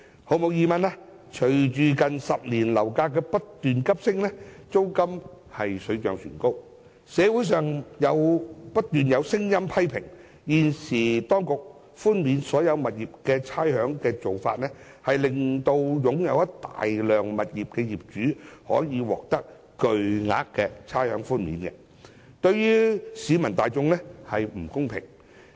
毫無疑問，隨着近10年樓價不斷急升，租金水漲船高，社會上不斷有聲音批評，現時當局寬免所有物業差餉的做法，令一些擁有大量物業的業主可以獲得巨額差餉寬免，對於市民大眾並不公平。